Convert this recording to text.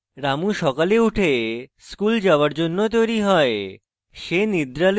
রামু সকালে উঠে স্কুল যাওযার জন্য তৈরী হয়